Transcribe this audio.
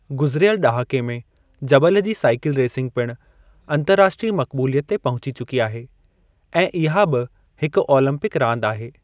गुज़िरियल ॾहाके में, जबल जी साईकिल रेसिंग पिणु अंतर्राष्ट्रीय मक़बूलियत ते पहुची चकी आहे ऐं इहा बि हिकु ओलम्पिक रांदि आहे।